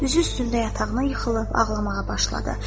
Üzü üstündə yatağına yıxılıb ağlamağa başladı.